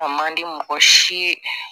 A man di mɔgɔ si ye